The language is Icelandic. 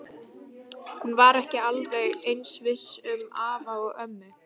Hún var ekki alveg eins viss um afa og ömmu.